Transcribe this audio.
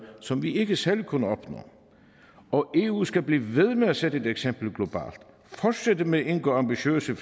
som vi ikke selv kunne opnå og eu skal blive ved med at sætte et eksempel globalt fortsætte med at indgå ambitiøse